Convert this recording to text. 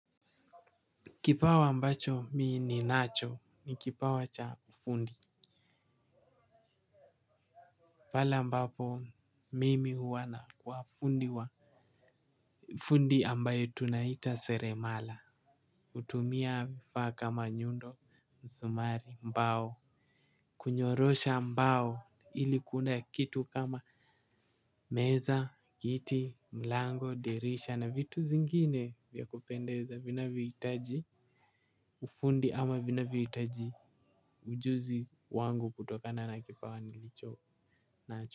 Kipawa ambacho mii ni nacho ni kipawa cha ufundi. Pala ambapo mimi huwana wa fundi wa fundi ambayo tunaita seremala. Hutumia vifa kama nyundo, msumari, mbao. Kunyorosha mbao ilikuenda kitu kama meza, kiti, mlango, dirisha na vitu zingine vya kupendeza. Vinavyoitaji ufundi ama vinavyoitaji ujuzi wangu kutokana na kipawa nilichonacho.